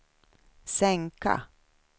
sänka